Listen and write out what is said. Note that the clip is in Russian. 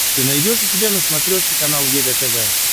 ты найдешь у себя на смотрешке канал егэ тв